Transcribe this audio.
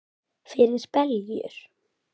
Fyrir beljur?